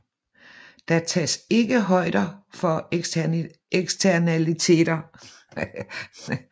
Der tages ikke højder for eksternaliteter